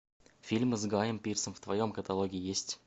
фильмы с гайем пирсом в твоем каталоге есть